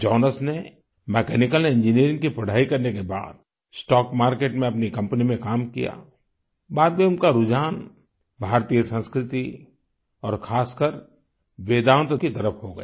Jonas ने mechanical engineering की पढ़ाई करने के बाद स्टॉक मार्केट में अपनी कंपनी में काम किया बाद में उनका रुझान भारतीय संस्कृति और खासकर वेदान्त की तरफ हो गया